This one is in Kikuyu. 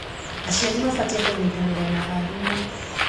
Aciari mabatie kũnyitanĩra na arimũ.